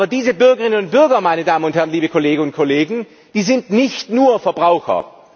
Aber diese Bürgerinnen und Bürger, meine Damen und Herren, liebe Kolleginnen und Kollegen, die sind nicht nur Verbraucher.